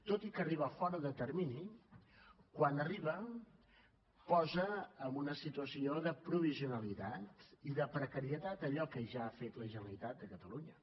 tot i que arriba fora de termini quan arriba posa en una situació de provisionalitat i de precarietat allò que ja ha fet la generalitat de catalunya